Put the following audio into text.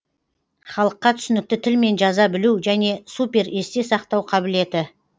халыққа түсінікті тілмен жаза білу және супер есте сақтау қабілеті